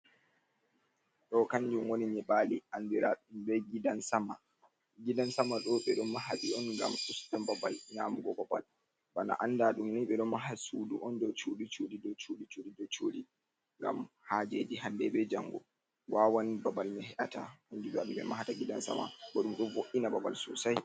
Ɗo kanjun woni nyiɓali andiraɗum bei gidan sama, gidan sama ɗo ɓe don maha ɗi on ngam ustan babal nyamugo babal, bana anda ɗum ni ɓe ɗo maha sudu on dou cuuɗi cuuɗi dou cuuɗi cuuɗi dou cuuɗi ngam haajeji hande bei jango wawan babal mai he'ata kanjum waɗi ɓe mahata gidan sama bo ɗum ɗo vo'ina babal sosai.